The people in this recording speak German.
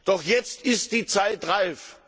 Doch jetzt ist die Zeit reif.